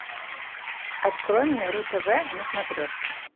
открой мне ру тв на смотрешке